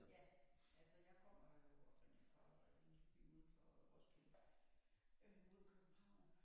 Ja altså jeg kommer jo oprindeligt fra en lille by uden for Roskilde øh mod København